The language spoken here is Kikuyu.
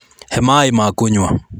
He maĩ ma kũnywa.